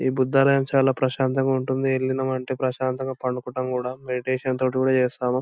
ఈ బుధాలయం చాలా ప్రశాంతంగా ఉంటుంది. ఎలిన్నాము అంటే చాలా ప్రశాంతంగా పండుకుంటాం కూడా. మెడిటేషన్ తోటి కూడా చేస్తాము.